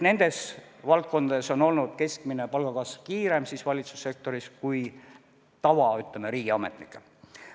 Nendes valdkondades on olnud keskmine palgakasv valitsussektoris kiirem kui, ütleme, tavariigiametnikel.